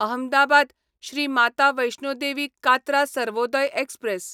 Ahmedabad Shri Mata Vaishno Devi Katra Sarvodaya express